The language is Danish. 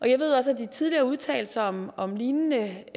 jeg ved også at de tidligere har udtalt sig om om lignende